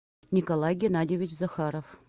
николай геннадьевич захаров